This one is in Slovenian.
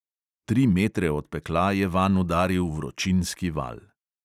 Tri metre od pekla je vanj udaril vročinski val.